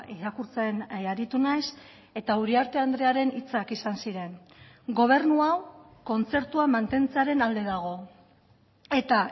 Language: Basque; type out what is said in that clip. irakurtzen aritu naiz eta uriarte andrearen hitzak izan ziren gobernu hau kontzertua mantentzearen alde dago eta